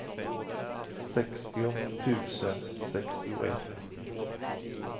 sextio tusen sextioett